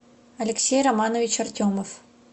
алексей романович артемов